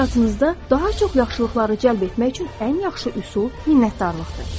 Həyatınızda daha çox yaxşılıqları cəlb etmək üçün ən yaxşı üsul minnətdarlıqdır.